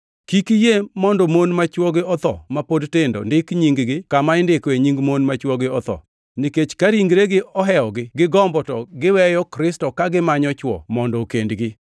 Kik iyie mondo mon ma chwogi otho ma pod tindo ndik nying-gi kama indikoe nying mon ma chwogi otho. Nikech ka ringregi ohewogi gi gombo to giweyo Kristo ka gimanyo chwo mondo okendgi.